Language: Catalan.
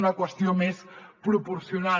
una qüestió més proporcional